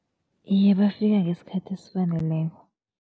Iye, bafika ngesikhathi esifaneleko.